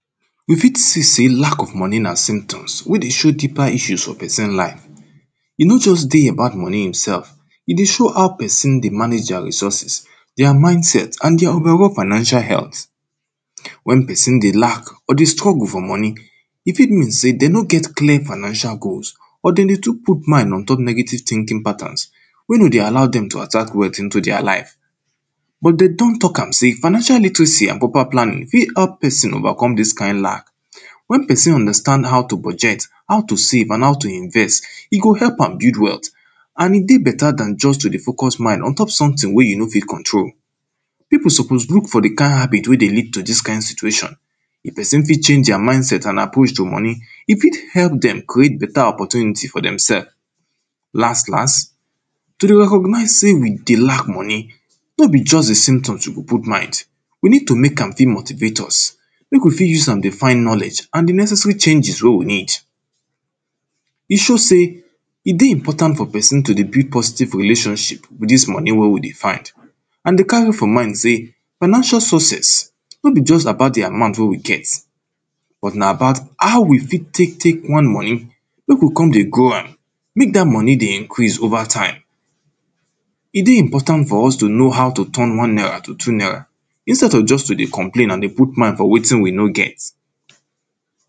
We fit see sey lack of money na symptoms wey dey show deeper issues for pesin life e no just dey about money im sef, e dey show how pesin dey manage dia resources, dia mental health and dia overall financial health, wen pesin dey lack or dey struggle for money e fit mean sey dey no get clear financial goal or dey dey tool put mind ontop negative tinking patterns wey no dey allow dem attract wealth into dia lives but dem don talk am say financial litleser and proper planning if help pesin overcome dis kind lack wen pesin understand how to budget, how to save and how to invest e go help am build wealth and e dey better dan just to dey focus mind ontop sometin wey you no fit control. Pipu suppose look for di kind habit wey dey lead to dis kind situation, if peson fit change dia mindset and approach to money e fit help dem create better opportunity for demsef, last last to dey recognise sey we dey lack money no be just di symptoms you go put mind, we need to make am fit motivate us wey go fit use am dey find knowledge and di necessary changes wey we need. E show sey e dey important for pesin to dey build positive relationship with dis money wey we dey find and dey carry for mind sey financial success no be just di amount wey we get but na about how we fit take take one money make we kon dey grow am, make dat money dey increase over time. E dey important for us to know how to turn one naira to two naira instead of just to dey complain and dey put mind for wetin we no get.